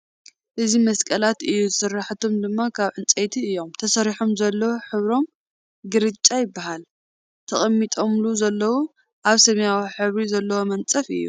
እዚ መስቐላት እዩ ስርሓቶም ድማ ካብ ዕንፀይቲ እዮም ተሰሪሖም ዘለዉ ሕብሮም ግራጫ ይበሃል። ተቐሚጦሙሉ ዘለዉ ኣብ ሰማያዊ ሕብሪ ዘለዎ መንፀፍ እዩ ።